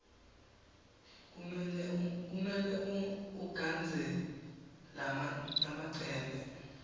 kumele ugandze lamacembe